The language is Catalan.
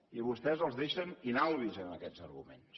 i vostès els deixen in albis amb aquests arguments